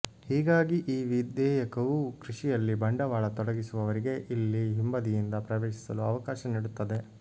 ಹೀಗಾಗಿ ಈ ವಿಧೇಯಕವು ಕೃಷಿಯಲ್ಲಿ ಬಂಡವಾಳ ತೊಡಗಿಸುವವರಿಗೆ ಇಲ್ಲಿ ಹಿಂಬದಿಯಿಂದ ಪ್ರವೇಶಿಸಲು ಅವಕಾಶ ನೀಡುತ್ತದೆ